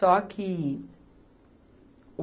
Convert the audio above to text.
Só que o